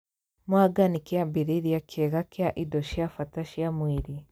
Mwanga nĩ kĩambĩrĩria kĩega kĩa indo cia bata cia mwĩrĩ